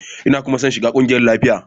Ina kuma son shiga kungiyar lafiya.